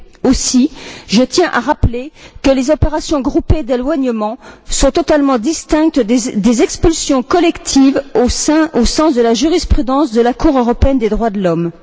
Aussi, je tiens à rappeler que les opérations groupées d'éloignement sont totalement distinctes des expulsions collectives au sens de la jurisprudence de la Cour européenne des droits de l'homme.